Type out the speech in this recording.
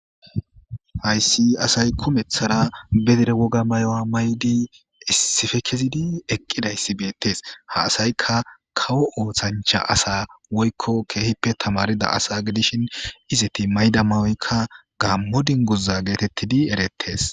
Hayssi asay kumeththara bedire woga mayowa maydi issippe kezidi eqqidayssi beettes. Ha asaykka kawo ooththancha asa woykko keehippe tamarida asa gidishin izeti mayda mayoykka gaammo dinguza geetettidi erettes.